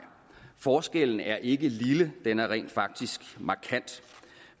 forskellen er ikke lille den er rent faktisk markant